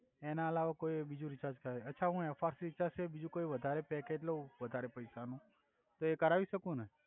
એના અલાવા કોઇ બીજુ રીચાર્જ કરાઇ અછા હુ એફઆર રીચાર્જ સિવાય બીજુ કોઇ વધારે પેકેજ લવ વધારે પૈસા નુ તો એ કરવી સકુ ને